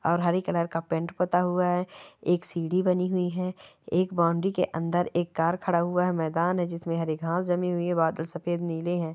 और हरे कलर का पेंट पुता हुआ हैं एक सीढ़ी बनी हुई है एक बाउण्ड्री के अंदर एक कार खड़ा हुआ है मैदान है जिसमे हरी घास जमी हुई है बादल सफेद नीले--